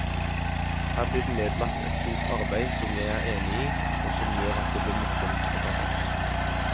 Her blir det nedlagt et stort arbeid som jeg er enig i, og som gjør at det blir morsomt å ta fatt.